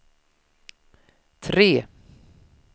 tre